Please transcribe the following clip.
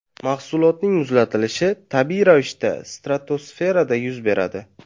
Mahsulotning muzlatilishi tabiiy ravishda stratosferada yuz beradi.